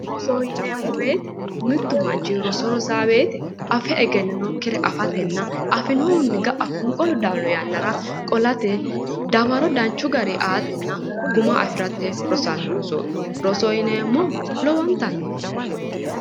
Rosoho yineemo woyite mittu manichi roso rosawo woyite afe egeninokkire afatenna afinohunni ga'a foniqolu daanno yannara qolate dawaro danichu garii aatena guma afirate rosanno rosoho yineemohu lowonitanni danichaho